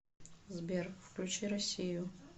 сбер включи россию